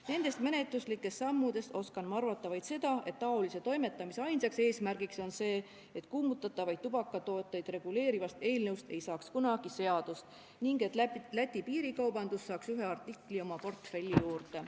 Nendest menetluslikest sammudest oskan ma arvata vaid seda, et sellise toimetamise ainus eesmärk on see, et kuumutatavaid tubakatooteid reguleerivast eelnõust ei saaks kunagi seadust ning Läti piirikaubandus saaks ühe artikli oma portfelli juurde.